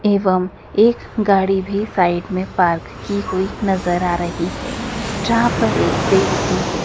एवं एक गाड़ी भी साइड में पार्क की हुई नजर आ रही है जहां पर एक पेड़ भी है।